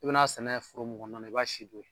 I bɛn'a sɛnɛ furu mun kɔnɔna na i b'a si don yen